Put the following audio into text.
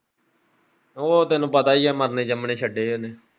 ਉਹ ਤੈਨੂੰ ਪਤਾ ਹੀ ਹੈ ਮਰਨੇ ਜੰਮਣੇ ਛੱਡੇ ਹੈ ਉਹਨੇ।